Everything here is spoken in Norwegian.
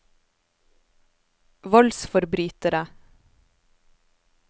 voldsforbrytere